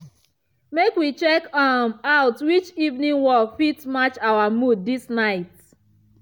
make we check um out which evening work fit match our mood this night.